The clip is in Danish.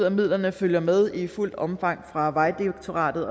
at midlerne følger med i fuldt omfang fra vejdirektoratet